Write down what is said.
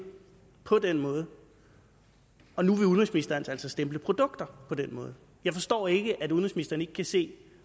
på den måde og nu vil udenrigsministeren altså stemple produkter på den måde jeg forstår ikke at udenrigsministeren ikke kan se